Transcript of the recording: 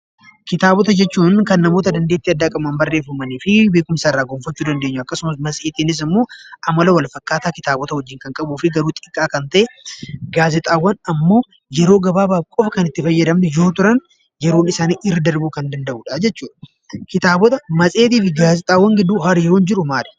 Kitaaba jechuun kan namoota dandeettii qabaniin kan barreeffamanii fi dubbisuun beekkumsa irraa argachuuf kan garagaaranidha. Matseetiin immoo amala walfakkaataa kitaaba waliin kan qabuu fi xiqqaa kan ta'edha. Gaazexaawwan immoo yeroo gabaabaaf kan fayyadamnuu fi Yeroon isaanii kan irra darbu jechuudha.